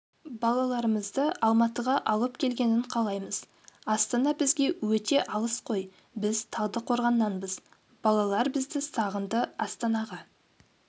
балаларымызды алматыға алып келгенін қалаймыз астана бізге өте алыс қой біз талдықорғаннанбыз балалар бізді сағынды астанаға